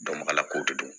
ala ko de do